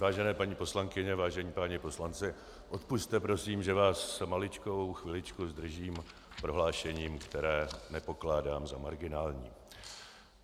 Vážené paní poslankyně, vážení páni poslanci, odpusťte prosím, že vás maličkou chviličku zdržím prohlášením, které nepokládám za marginální.